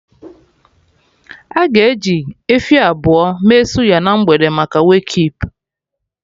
Aga eji efi abụọ mee suya na mgbede maka Wake keep